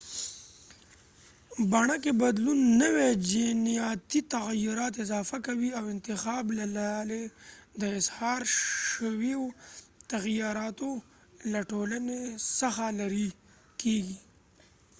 بڼه کې بدلون نوي جینیاتي تغیرات اضافه کوي او انتخاب له لارې د اظهار شویو تغیراتو له ټولنې څخه لرې کیږي